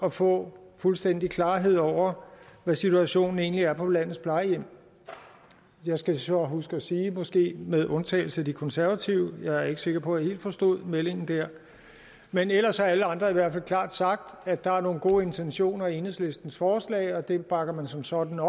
at få fuldstændig klarhed over hvad situationen egentlig er på landets plejehjem jeg skal så huske at sige måske med undtagelse af de konservative jeg er ikke sikker på at jeg helt forstod meldingen dér men ellers har alle andre i hvert fald klart sagt at der er nogle gode intentioner i enhedslistens forslag og at dem bakker man som sådan